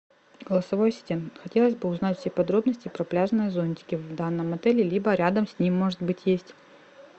голосовой ассистент хотелось бы узнать все подробности про пляжные зонтики в данном отеле либо рядом с ним может быть есть